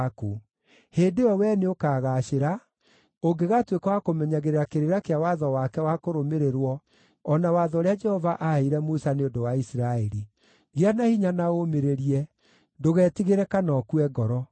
Hĩndĩ ĩyo wee nĩũkagaacĩra, ũngĩgatuĩka wa kũmenyagĩrĩra kĩrĩra kĩa watho wake wa kũrũmĩrĩrwo o na watho ũrĩa Jehova aaheire Musa nĩ ũndũ wa Isiraeli. Gĩa na hinya na ũmĩrĩrie. Ndũgetigĩre kana ũkue ngoro.